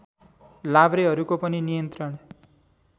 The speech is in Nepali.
लाभ्रेहरूको पनि नियन्त्रण